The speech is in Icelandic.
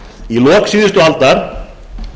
í lok síðustu aldar